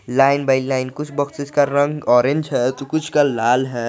Line by line कुछ boxes का रंग ऑरेंज है तो कुछ का लाल है।